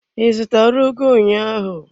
I zụtara ugu ụnyaahụ?